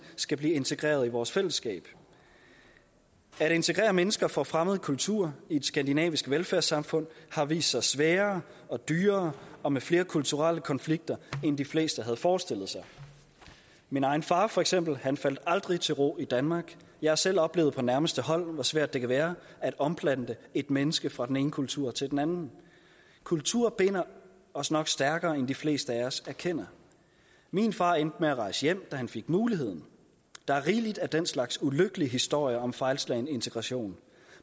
skal blive integreret i vores fællesskab at integrere mennesker fra fremmede kulturer i et skandinavisk velfærdssamfund har vist sig sværere og dyrere og med flere kulturelle konflikter end de fleste havde forestillet sig min egen far for eksempel faldt aldrig til ro i danmark jeg har selv oplevet på nærmeste hold hvor svært det kan være at omplante et menneske fra den ene kultur til den anden kultur binder os nok stærkere end de fleste af os erkender min far endte med at rejse hjem da han fik muligheden der er rigeligt af den slags ulykkelige historier om fejlslagen integration